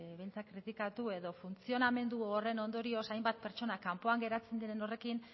kritikatu edo funtzionamendu horren ondorioz hainbat pertsona geratzen diren horrekin